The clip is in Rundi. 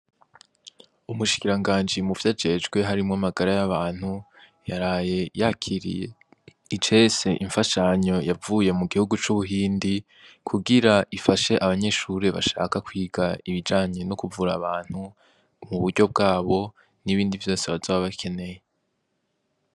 Umushikiranganji mu vyo ajejwe harimwo amagara y'abantu yaraye yakiriye icese imfashanyo yavuye mu gihugu c'ubuhindi kugira ifashe abanyeshurire bashaka kwiga ibijanye no kuvura abantu mu buryo bwabo n'ibindi vyose bazabbakeneye.